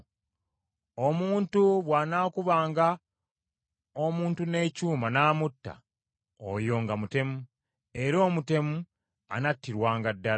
“ ‘Omuntu bw’anaakubanga omuntu n’ekyuma n’amutta, oyo nga mutemu; era omutemu anattirwanga ddala.